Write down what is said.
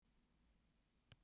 Í því er von.